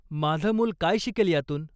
माझं मुल काय शिकेल यातून?